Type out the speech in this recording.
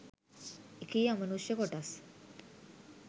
එකී අමනුෂ්‍ය කොටස්